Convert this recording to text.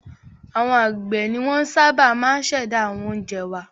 Àwọn àgbẹ̀ ni wọ́n sábà máa ń ṣẹ̀dá àwọn oúnjẹ wá.